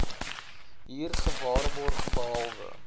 hier gewaarborg behalwe